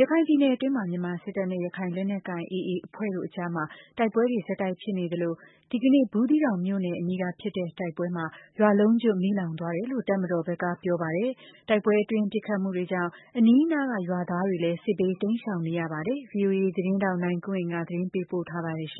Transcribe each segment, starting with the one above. ရခိုင်ပြည်နယ်အတွင်းမှာ မြန်မာစစ်တပ်နဲ့ ရခိုင်လက်နက်ကိုင် AA အဖွဲ့တို့အကြား တိုက်ပွဲတွေ ဆက်တိုက်ဖြစ်နေသလို ဒီကနေ့ ဘူးသီးတောင်မြို့နယ်အနီး ဖြစ်တဲ့တိုက်ပွဲမှာ ရွာလုံးကျွတ် မီးလောင်သွားတယ်လို့ တပ်မတော်ဘက်ကပြောပါတယ်။ တိုက်ပွဲအတွင်း ပစ်ခတ်မှှုတွေကြောင့် အနီးနားရွာသားတွေလည်း စစ်ဘေးတိမ်းရှောင်နေရပါတယ်။ ဗွီအိုအေ သတင်းထောက်နိုင်ကွန်းအိန်ကနေ သတင်းပေးပို့ထားပါတယ်။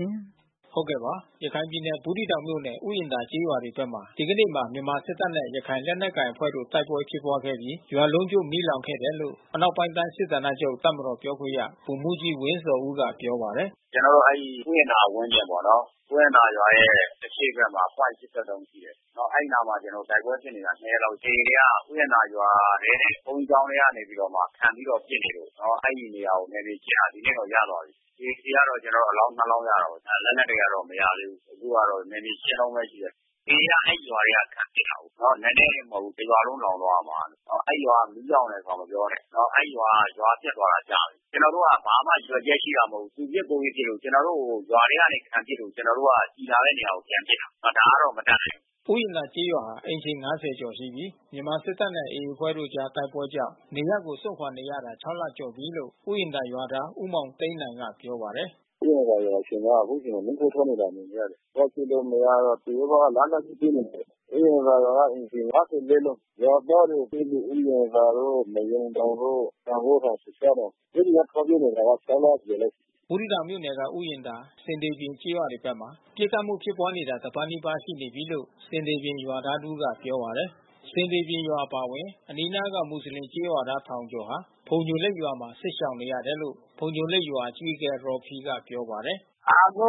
ရခိုင်ပြည်နယ်ဘူး သီးတောင်မြို့နယ် ဥယျာဉ်သာကျေးရွာတွေဘက်မှာ ဒီကနေ့မှာ မြန်မာစစ်တပ်နဲ့ ရခိုင်လက်နက်ကိုင်အဖွဲ့တို့ တိုက်ပွဲဖြစ်ပွားခဲ့ပြီး ရွာလုံးကျွတ် မီးလောင်ခဲ့တယ်လို့ အနောက်ပိုင်းတိုင်း စစ်ဌာနချုပ်တပ်မတော်ပြောခွင့်ရ ဗိုလ်မှူးကြီးဝင်းဇော်ဦးက ပြောပါတယ်။ “ကျနော်တို့ အဲဒီဥယျာဉ်သာရွာရဲ့ ဝန်းကျင်ပေါ့နော်။ ဥယျာဉ်သာရွာရဲ့ အရှေ့ဘက် ပွိုင့် ၈၃ ရှိတယ်။ အဲဒီနားမှာ ကျနော်တို့ တိုက်ပွဲဖြစ်နေတာ ၂ ရက်ရ ှိပြီး။ AA တွေက ဥယျာဉ်သာရွာထဲနဲ့ ဘုန်းကြီးကျောင်းထဲကနေပြီးမှ ခံပြီးတော့ ပစ်နေလို့ အဲဒီနေရာကို နယ်မြေရှင်းတာ ဒီနေ့တော့ ရသွားပြီး။ AA ဆီကတော့ ကျနော်တို့ အလောင်း ၂ လောင်း ရတာပေါ့။ လက်နက်တွေတော့ မရသေးဘူး။ အခုကတော့ နယ်မြေရှင်းတုန်းပဲ ရှိတယ်။ AA က အဲဒီရွာက ခံပစ်တာကိုး။ နည်းနည်း မဟုတ်ဘူး။ တရွာလုံးလောင်သွားတာ။ အဲဒီရွာတွေ မီးလောင်တာတွေ မပြောနဲ့ အဲဒီရွာက ရွာပျက်သွားတာ ကြာပြီး။ ကျနော်တို့က ဘာမှရည်ရွယ်ချက်ရှိတာ မဟုတ်ဘူး။ သူပစ်၊ ကိုယ်ပစ် ပစ်လို့။ ကျနော်တို့ကို ရွာထဲကနေ ခံပစ်လို့ ကျနော်တို့က ကျည်လာတဲ့ နေရာကိုပြန်ပစ်တာ။ ဒါကတော့ မတတ်နိုင်ဘူး။” ဥယျာဉ်သာကျေးရွာဟာ အိမ်ခြေ ၅၀ ကျော်ရှိပြီး မြန်မာစစ်တပ်နဲ့ AA အဖွဲ့တို့အကြား တိုက်ပွဲကြောင့် ရွာကိုစွန့်ခွာနေရတာ ၆ လ ကျော်ပြီးလို့ ဥယျာဉ်သာရွာသား ဦးမောင်သိန်းနိုင်က ပြောပါတယ်။ “ဥယျာဉ်သာရွာ အခြေအနေက အခုဆိုရင် မီးခိုးထွက်နေတာ မြင်နေရတယ်။ သွားကြည့်လို့ မရတော့သူတို့က လက်နက်ကြီးနဲ့ ပစ်နေတာ။ ဥယျာဉ်သာရွာက အိမ်ခြေ ၅၄ လုံး။ ရွာသားတွေ အထူးသဖြင့် ဥယျာဉ်သာတို့ နွားရုံတောင်တို့ စံဂိုင်းထောင် သျှစ်ရှားတောင်။ အဲဒီက ထွက်ပြေးနေတာ ၆ လ ကျော်ပြီ။” ဘူးသီးတောင်မြို့နယ်က ဥယျာဉ်သာ၊ ဆင်သေပြင်ကျေးရွာတွေဘက်မှာ ပစ်ခတ်မှု ဖြစ်ပွားနေတာ တပတ်နီးပါး ရှိနေပြီးလို့ ဆင်သေပြင်ရွာသား တဦးက ပြောပါတယ်။ ဆင်သေပြင်ရွာအပါဝင် အနီးနားက မွတ်ဆလင်ကျေးရွာသား ထောင်ကျော်ဟာ ဖုန်ညိုလိတ်ရွာမှာ စစ်ရှောင်နေရတယ်လို့ ဖုန်ညိုလိတ်ရွာ အကြီးအကဲ ရော်ဖီက ပြောပါတယ်။ “အခု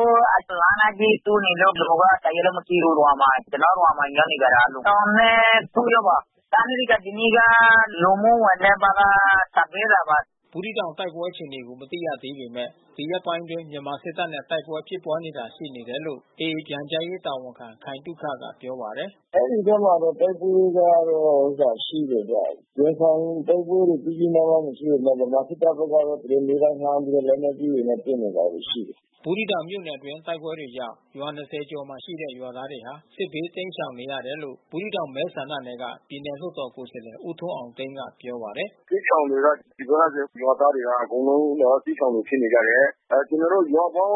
လက်နက်ကြီး ထုနေလို့ လူက တရွာလုံး မရှိဘူးရွာမှာ။ ကျနော်ရွာမှာ ရောက်နေကြတာလူ ၂၀၀၉ ယောက်ပါ။ စားနပ်ရိက္ခာ ဒီနေ့က လူမှုဝန်ထမ်းဘက်က ဆန်ပေးတာပါ။” ဘူးသီးတောင် တိုက်ပွဲအခြေအနေကို မသိရသေးပေမဲ့ ဒီရက်ပိုင်းတွေအတွင်း မြန်မာစစ်တပ်နဲ့ တိုက်ပွဲဖြစ်ပွားတာရှိ နေတယ်လို့ AA ပြန်ကြားရေး တာဝန်ခံခိုင်သုခက ပြောပါတယ်။ “အဲဒီဘက်မှာတော့ တိုက်ပွဲတွေကရှိတယ်ဗျ။ ရင်ဆိုင်တိုက်ပွဲကြီးကြီးမားမားမရှိပေမဲ့ ဗမာစစ်တပ်ဘက်က သူတို့နေ့တိုင်းလှမ်းပြီးတော့ လက်နက်ကြီးတွေ ပစ်နေတာတွေရှိတယ်။” ဘူးသီးတောင်မြို့နယ်အတွင်း တိုက်ပွဲတွေကြောင့် ရွာ ၂၀ ကျော်မှာရှိတဲ့ ကျေးရွာသားတွေဟာ စစ်ဘးတိမ်းရှောင်နေရတယ်လို့ ဘူးသီးတောင် မဲဆန္ဒနယ်က ပြည်နယ်လွှတ်တော် ကိုယ်စားလှယ် ဦးထွန်းအောင်သိန်းက ပြောပါတယ်။ “စစ်ရှောင်တွေက ဒီဘက်ကရွာသားတွေဟာ အကုန်လုံး စစ်ရှောင်တွေဖြစ်နေကြတယ်။ ကျနော်တို့ရွာပေါင်း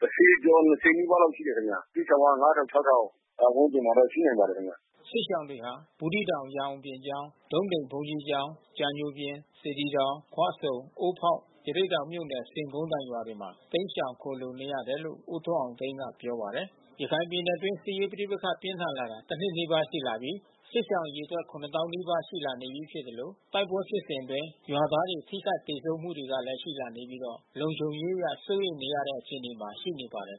၁၀ ကျော်၂၀ နီး ပါးလောက်ရှိတယ် ခင်ဗျ။ စစ်ရှောင်တွေက ၅,၀၀၀၊ ၆,၀၀၀ ဝန်းကျင်မှာတော့ ရှိနိုင်ပါတယ် ခင်ဗျ။” စစ်ရှောင်တွေဟာ ဘူးသီးတောင် ရန်အောင်ပြင်ကျောင်း၊ ဒုံးသိမ်ဘုန်းကြီးကျောင်း၊ ကြာညိုပြင်၊ စေတီတောင်၊ ခွဆ၊ုံ အိုးဖေါက် ရသေ့တောင်မြို့နယ် ဆင်ခုန်းတိုင်ရွာတွေမှာ တိမ်းရှောင်ခိုလှုံနေရတယ်လို့ ဦးထွန်းအောင်သိန်းက ပြောပါတယ်။ ရခိုင်ပြည်နယ်အတွင်း စစ်ရေးပဋိပက္ခ ပြင်းထန်လာတာ တနှစ်နီးပါး ရှိလာပြီး စစ်ရှောင်အရေအတွက် ၇၀,၀၀၀ နီးပါး ရှိလာနေပြီး ဖြစ်သလို တိုက်ပွဲဖြစ်စဉ်အတွင်း ရွာသားတွေ ထိခိုက်သေဆုံးမှုတွေကလည်း ရှိလာနေပြီး လုံခြုံရေးအရ စိုးရိမ်နေရတဲ့ အခြေအနေမှာ ရှိနေပါတယ်